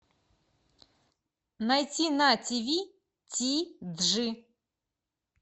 найти на тиви ти джи